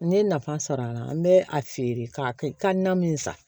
N ye nafa sɔrɔ a la n bɛ a feere k'a na min san